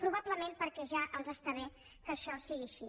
probablement perquè ja els està bé que això sigui així